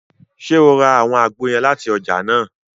Ṣe o rà awọn àgbo yẹn láti ọjà nàá?